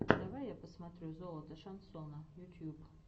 давай я посмотрю золото шансона ютьюб